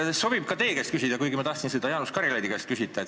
Seda sobib ka teie käest küsida, kuigi ma tahtsin seda küsida Jaanus Karilaidi käest.